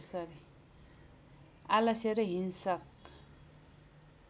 आलस्य र हिंस्रक